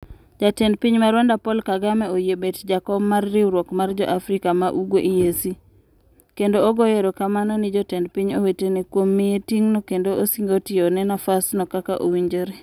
Jatend piny ma Rwanda Paul Kagame oyie bet jakom mar riwruok mar jo Afrika ma Ugwe (EAC). kendo ogoyo erokamano ni jotend piny owetene. kuom miye ting no kendo osingo tiyo ne nafas no kaka owinjore.